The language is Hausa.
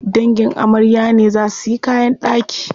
Dangin amarya ne za suyi kayan ɗaki.